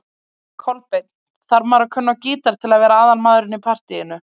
Kolbeinn: Þarf maður að kunna á gítar til að vera aðalmaðurinn í partýinu?